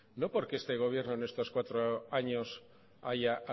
no porque este gobierno en estos cuatro años haya